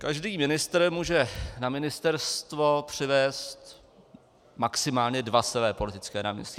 Každý ministr může na ministerstvo přivést maximálně dva své politické náměstky.